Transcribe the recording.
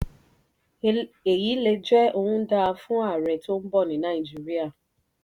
èyí lè jẹ ohun dáa fún ààrẹ tó ń bọ̀ ní nàìjíríà.